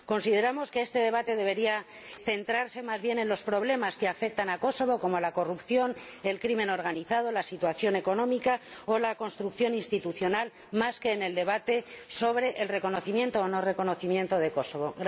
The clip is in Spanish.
Consideramos que este debate debería centrarse más bien en los problemas que afectan a Kosovo, como la corrupción, la delincuencia organizada, la situación económica o la construcción institucional, más que en el debate sobre el reconocimiento o no reconocimiento de Kosovo.